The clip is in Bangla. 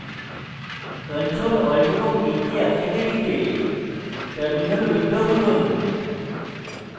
ctrl alt এবং t কী একসাথে টিপে terminal উইন্ডো খুলুন